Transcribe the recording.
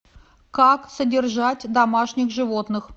как содержать домашних животных